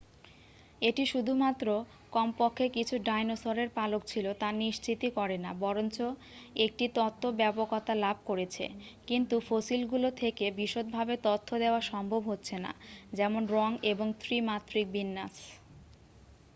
এটি শুধুমাত্র কমপক্ষে কিছু ডাইনোসরের পালক ছিল তা নিশ্চিতই করে না বরঞ্চ একটি তত্ত্ব ব্যাপকতা লাভ করেছে কিন্তু ফসিলগুলো থেকে বিশদভাবে তথ্য দেয়া সম্ভব হচ্ছে না যেমন রঙ এবং ত্রি-মাত্রিক বিন্যাস